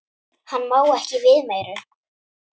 Hann má ekki við meiru.